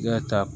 Ne ya ta